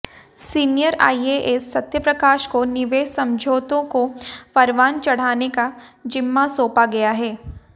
senior IAS Satyaprakash को निवेश समझौतों को परवान चढ़ाने का जिम्मा सौंपा गया है